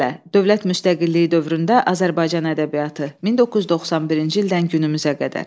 Dövlət müstəqilliyi dövründə Azərbaycan ədəbiyyatı 1991-ci ildən günümüzə qədər.